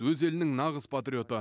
өз елінің нағыз патриоты